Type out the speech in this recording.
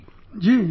Ji Ji